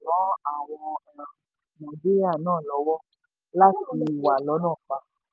naijiria naa lọ́wọ́ láti wà lọ́nà fa